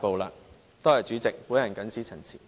多謝代理主席，我謹此陳辭。